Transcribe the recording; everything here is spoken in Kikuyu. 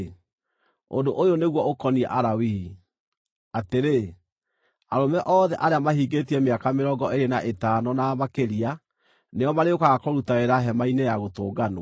“Ũndũ ũyũ nĩguo ũkoniĩ Alawii: Atĩrĩ, arũme othe arĩa mahingĩtie mĩaka mĩrongo ĩĩrĩ na ĩtano na makĩria nĩo marĩũkaga kũruta wĩra Hema-inĩ-ya-Gũtũnganwo,